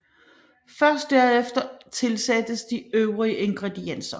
Først derefter tilsættes de øvrige ingredienser